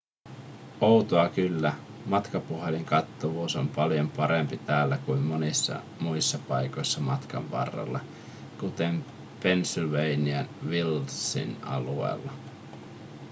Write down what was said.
outoa kyllä matkapuhelinkattavuus on paljon parempi täällä kuin monissa muissa paikoissa matkan varrella kuten pennsylvania wildsin alueella